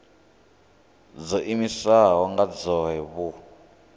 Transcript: dzo iimisaho nga dzohe vhu